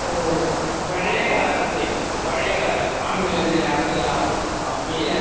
ഓ അപ്പൊ ഉം ഉം